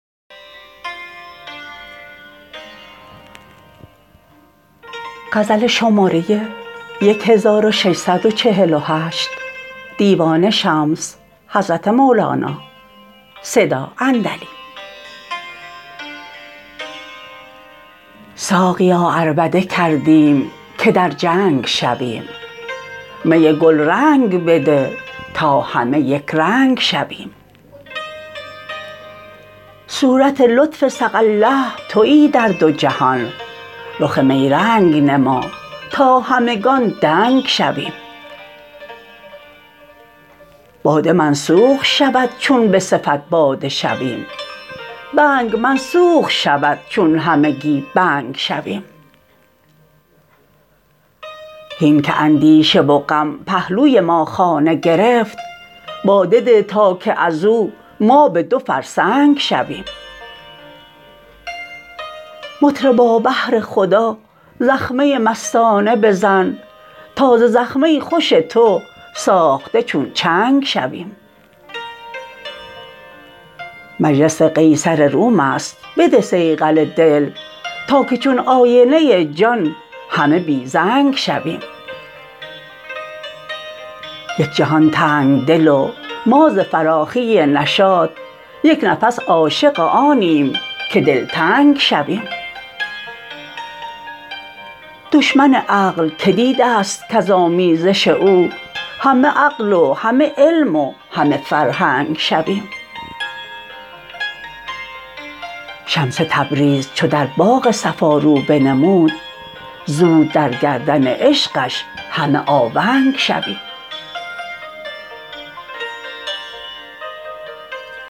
ساقیا عربده کردیم که در جنگ شویم می گلرنگ بده تا همه یک رنگ شویم صورت لطف سقی الله توی در دو جهان رخ می رنگ نما تا همگان دنگ شویم باده منسوخ شود چون به صفت باده شویم بنگ منسوخ شود چون همگی بنگ شویم هین که اندیشه و غم پهلوی ما خانه گرفت باده ده تا که از او ما به دو فرسنگ شویم مطربا بهر خدا زخمه مستانه بزن تا ز زخمه خوش تو ساخته چون چنگ شویم مجلس قیصر روم است بده صیقل دل تا که چون آینه جان همه بی رنگ شویم یک جهان تنگ دل و ما ز فراخی نشاط یک نفس عاشق آنیم که دلتنگ شویم دشمن عقل کی دیده ست کز آمیزش او همه عقل و همه علم و همه فرهنگ شویم شمس تبریز چو در باغ صفا رو بنمود زود در گردن عشقش همه آونگ شویم